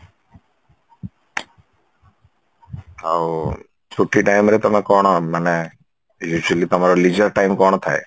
ଆଉ ଛୁଟି time ରେ ତମେ କଣ ମାନେ actually ତମର leisure time କଣ ଥାଏ ?